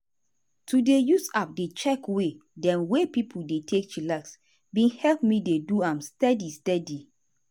to dey use app dey check way dem wey pipo dey take chillax bin help me dey do am steady steady.